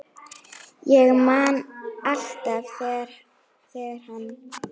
Ég man alltaf þegar hann